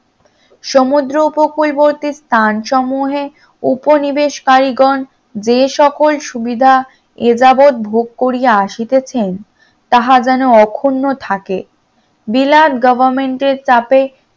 সমুদ্র উপকূলবর্তী স্থান সমূহের উপনিবেশ কারিগণ যে সকল সুবিধা এ যাবৎ ভোগ করিয়া আসিতেছেন তাহা যেন অখুন্ন থাকে, বিলাত government এর চাপে